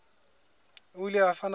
o ile a fana ka